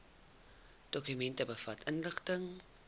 dokument bevat inligting